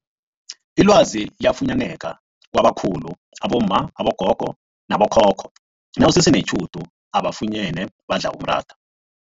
Ilwazi liyafunyaneka kwabakhulu abomma, abogogo nabo khokho nawusese netjhudu ubafunyene badla umratha.